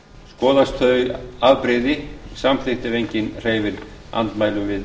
skoðast þau afbrigði samþykkt ef enginn hreyfir andmælum